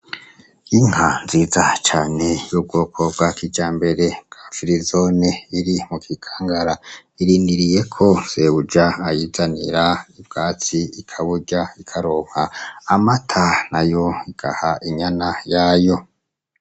Yinka nziza cane y'ubwoko bwak ija mbere ka filizone iri mu gikangara iriniriye ko sebuja ayizanira ibwatsi ikaburya ikaronka amata na yo igaha inyana yayo.